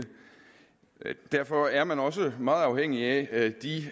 derfor er man også meget afhængig af de